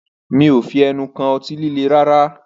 Mí ò fi ẹnu kàn ọtí líle rárá